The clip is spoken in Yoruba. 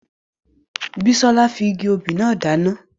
Bisola fi igi obì náà dáná